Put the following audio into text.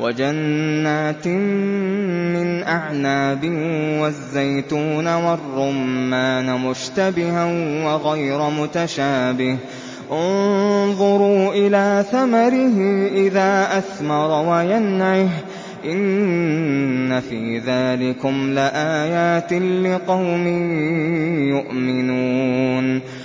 وَجَنَّاتٍ مِّنْ أَعْنَابٍ وَالزَّيْتُونَ وَالرُّمَّانَ مُشْتَبِهًا وَغَيْرَ مُتَشَابِهٍ ۗ انظُرُوا إِلَىٰ ثَمَرِهِ إِذَا أَثْمَرَ وَيَنْعِهِ ۚ إِنَّ فِي ذَٰلِكُمْ لَآيَاتٍ لِّقَوْمٍ يُؤْمِنُونَ